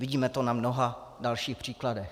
Vidíme to na mnoha dalších příkladech.